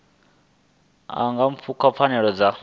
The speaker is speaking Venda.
a nga pfuka pfanelo dza